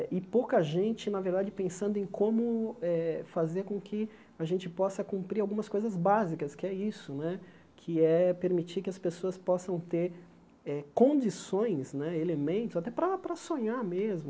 E pouca gente, na verdade, pensando em como eh fazer com que a gente possa cumprir algumas coisas básicas, que é isso né, que é permitir que as pessoas possam ter eh condições, né elementos, até para para sonhar mesmo.